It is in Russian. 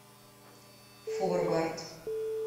форвард